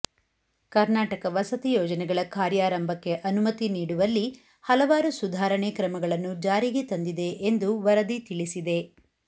ಕರ್ನಾಟಕ ವಸತಿ ಯೋಜನೆಗಳ ಕಾರ್ಯಾರಂಭಕ್ಕೆ ಅನುಮತಿ ನೀಡುವಲ್ಲಿ ಹಲವಾರು ಸುಧಾರಣೆ ಕ್ರಮಗಳನ್ನು ಜಾರಿಗೆ ತಂದಿದೆ ಎಂದು ವರದಿ ತಿಳಿಸಿದೆ